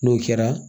N'o kɛra